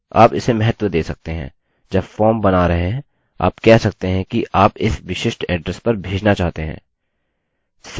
स्पष्ट रूप से आप इसे महत्व दे सकते हैं जब फॉर्म बना रहे हैं आप कह सकते हैं कि आप इस विशिष्ट एड्रेस पर भेजना चाहते हैं